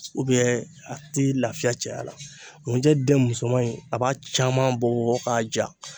a ti lafiya cɛya la, ŋunjɛ den musoman in a b'a caman bɔ k'a ja